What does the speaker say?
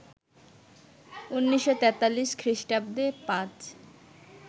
১৯৪৩ খ্রিস্টাব্দে পাজ